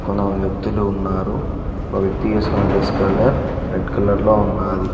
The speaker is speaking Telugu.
కొందరు వ్యక్తులు ఉన్నారు ఓ వ్యక్తి వేసుకున్న డ్రెస్ కలర్ రెడ్ కలర్ లో ఉన్నాది.